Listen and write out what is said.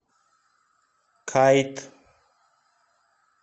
кайт